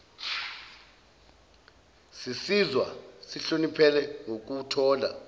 sizizwa sihloniphekile ngokuthola